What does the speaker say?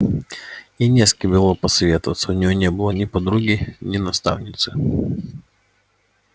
ей не с кем было посоветоваться у ней не было ни подруги ни наставницы